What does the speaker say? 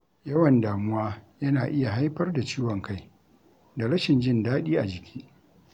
Yawan damuwa yana iya haifar da ciwon kai, da rashin jin daɗi a jiki.